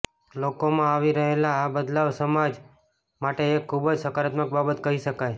લોકોમાં આવી રહેલો આ બદલવા સમાજ માટે એક ખૂબ જ સકારાત્મક બાબત કહી શકાય